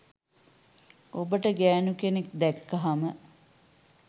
ඔබට ගෑනු කෙනෙක් දැක්කහම